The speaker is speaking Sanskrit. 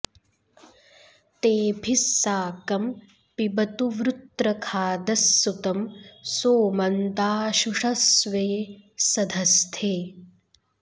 तेभिः साकं पिबतु वृत्रखादः सुतं सोमं दाशुषः स्वे सधस्थे